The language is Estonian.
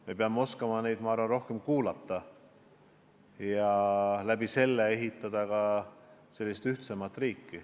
Me peame oskama neid rohkem kuulata ja selle abil ehitada ühtsemat riiki.